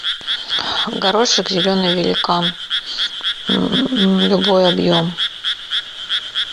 горошек зеленый великан любой объем